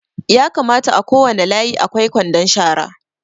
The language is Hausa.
Ya kamata a kowane layi a kwai kwandon shara